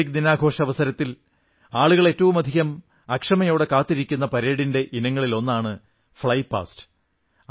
republic ദിന ആഘോഷാവസരത്തിൽ ആളുകൾ ഏറ്റവുമധികം അക്ഷമയോടെ കാത്തിരിക്കുന്ന പരേഡിന്റെ ഇനങ്ങളിലൊന്നാണ് ഫ്ളൈ പാസ്റ്റ്